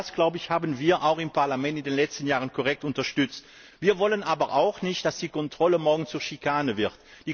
All das haben wir im Parlament in den letzten Jahren korrekt unterstützt. Wir wollen aber auch nicht, dass die Kontrolle morgen zur Schikane wird.